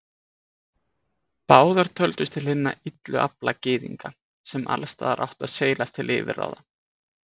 Báðar töldust til hinna illu afla Gyðinga, sem alls staðar áttu að seilast til yfirráða.